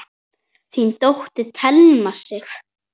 Þín dóttir, Thelma Sif.